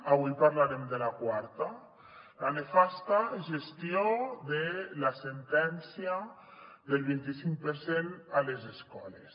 avui parlarem de la quarta la nefasta gestió de la sentència del vint i cinc per cent a les escoles